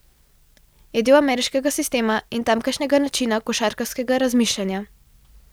Je del ameriškega sistema in tamkajšnjega načina košarkarskega razmišljanja.